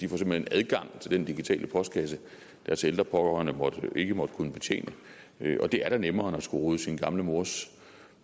hen adgang til den digitale postkasse deres ældre pårørende ikke måtte kunne betjene og det er da nemmere end at skulle rode sin gamle mors